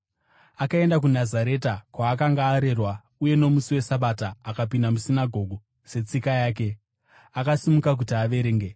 Akaenda kuNazareta, kwaakanga arerwa, uye nomusi weSabata akapinda musinagoge, setsika yake. Akasimuka kuti averenge.